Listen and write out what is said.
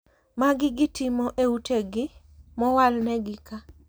Magi gitimo e utegi mowalnegi ka.